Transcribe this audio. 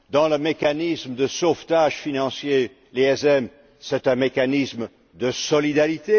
Le mécanisme de sauvetage financier, le MES, est un mécanisme de solidarité.